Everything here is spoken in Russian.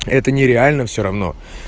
это нереально всё равно